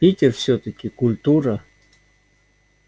питер всё-таки культура